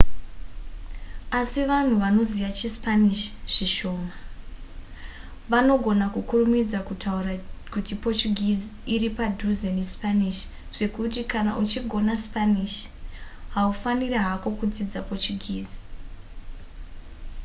asi vanhu vanoziva chispanish zvishoma vanogona kukurumidza kutaura kuti portuguese iri padhuze nespanish zvekuti kana uchigona spanish haufaniri hako kudzidza portuguese